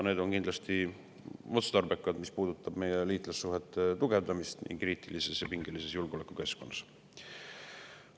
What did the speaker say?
Need on kindlasti otstarbekad, mis puudutab meie liitlassuhete tugevdamist praeguses kriitilises ja pingelises julgeolekukeskkonnas.